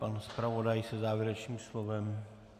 Pan zpravodaj se závěrečným slovem?